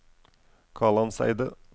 Kalandseidet